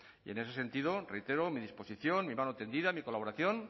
y en ese sentido reitero mi disposición mi mano tendida mi colaboración